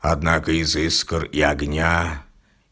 однако из искр и огня